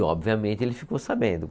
Obviamente, ele ficou sabendo.